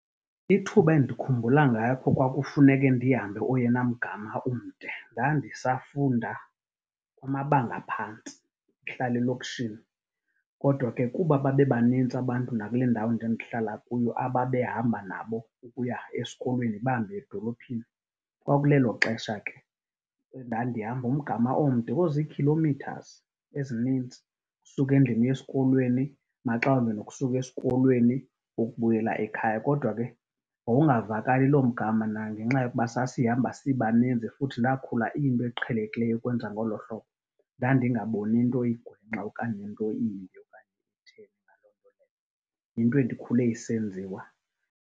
Ithuba endikhumbula ngakho kwakufuneke ndihambe oyena mgama umde ndandisafunda amabanga aphantsi ndihlala elokishini. Kodwa ke kuba babebanintsi abantu nakule ndawo ndandihlala kuyo ababehamba nabo ukuya esikolweni, bambi edolophini. Kwakulelo xesha ke endandihamba umgama omde oziikhilomithazi ezinintsi, suka endlini, uye esikolweni, maxa wambi nokusuka esikolweni ukubuyela ekhaya. Kodwa ke wawungavakali loo mgama nangenxa yokuba sasihamba sibaninzi futhi ndakhula iyinto eqhelekileyo ukwenza ngolo hlobo. Ndandingaboni nto igwenxa okanye nto imbi okanye ehteni na . Yinto endikhule isenziwa.